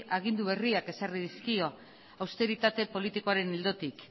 agindu berriak ezarri dizkio austeritate politikoaren ildotik